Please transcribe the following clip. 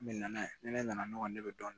Ne nana ye ni ne nana ne bɛ dɔɔnin dɔɔnin